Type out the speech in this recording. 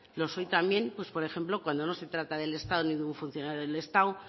los hoy también pues por ejemplo cuando no se trata del estado ningún funcionario del estado